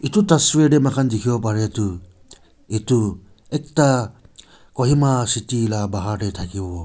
edu tswir tae mohan dikhiwo parae tu edu ekta kohima city la bahar tae thakiwo.